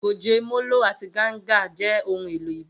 Goge, molo, àti ganga jẹ́ ohun èlò ìbílẹ̀.